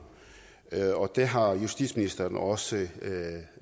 og det har justitsministeren også